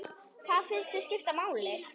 Hvað finnst þér skipta máli?